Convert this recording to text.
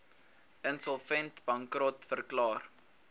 insolvent bankrot verklaar